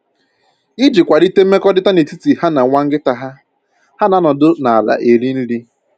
Iji kwalite mmekọrịta n'etiti ha na nwa nkịta ha, ha na-anọ ọdụ n'ala eri nri